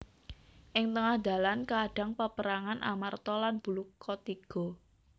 Ing tengah dalan kaadhang peperangan Amarta lan Bulukatiga